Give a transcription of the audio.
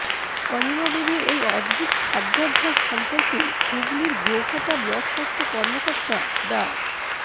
অনিমা দেবীর এই অদ্ভুত খাদ্যাভ্যাস সম্পর্কে হুগলির গোঘাটা ব্লক স্বাস্থ্য কর্মকর্তা ডা